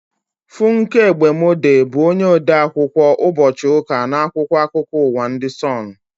Funke Egbemode bụ onye ode akwụkwọ ụbọchị ụka n' akwụkwọ akụkọ ụwa ndị Sonu